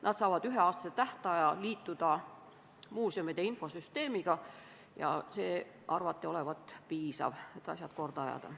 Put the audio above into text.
Nad saavad üheaastase tähtaja liituda muuseumide infosüsteemiga – see arvati olevat piisav, et asjad korda ajada.